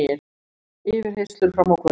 Yfirheyrslur fram á kvöld